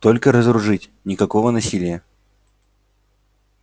только разоружить никакого насилия